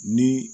Ni